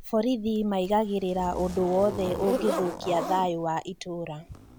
Borithi maigagĩrĩra ũndũ wothe ũngĩthũkia thayũ wa itũra